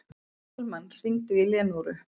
Dalmann, hringdu í Leónóru.